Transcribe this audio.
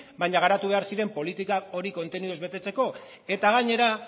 baina garatu behar ziren politika horiek kontenidoz betetzeko eta gainera